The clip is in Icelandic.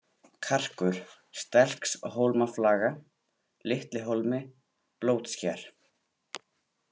Karkur, Stelkshólmaflaga, Litli-Hólmi, Blótsker